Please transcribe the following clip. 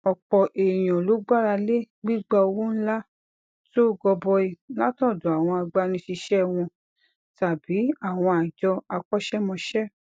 òpò èèyàn ló gbára lé gbigba owó ńlá to gọbọi látòdò àwọn agbanisiṣe wọn tàbí àwọn àjọ akọṣẹmọṣẹ